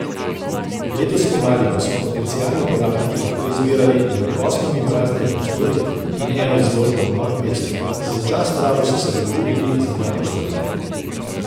Letos spomladi pa so potencialni uporabniki lahko zbirali med osmimi praznimi prostori in eno izložbo v Novem mestu, za začasno rabo so se dogovorili za dva prostora.